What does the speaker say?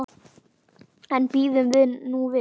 En bíðum nú við.